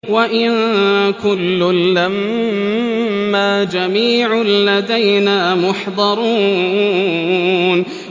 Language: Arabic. وَإِن كُلٌّ لَّمَّا جَمِيعٌ لَّدَيْنَا مُحْضَرُونَ